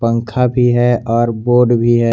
पंखा भी है और बोर्ड भी है।